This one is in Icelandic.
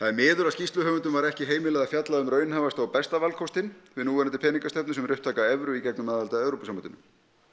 er miður að skýrsluhöfundum var ekki heimilað að fjalla um raunhæfasta og besta valkostinn með núverandi peningastefnu sem er upptaka evru með aðild að Evrópusambandinu